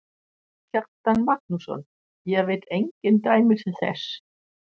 Kjartan Magnússon: Ég veit engin dæmi þess?